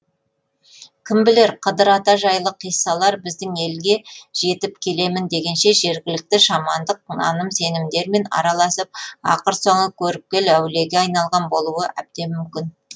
кім білер қыдыр ата жайлы қиссалар біздің елге жетіп келемін дегенше жергілікті шамандық наным сенімдермен араласып ақыр соңы көріпкел әулиеге айналған болуы әбден мүмкін